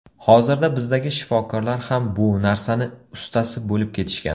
Hozirda bizdagi shifokorlar ham bu narsani ustasi bo‘lib ketishgan.